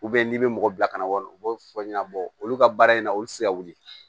n'i bɛ mɔgɔ bila ka na wa u b'o fɔ n ɲɛna olu ka baara in na olu tɛ se ka wuli